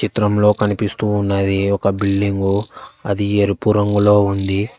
చిత్రంలో కనిపిస్తూ ఉన్నది ఒక బిల్డింగ్గు అది ఎరుపు రంగులో ఉంది.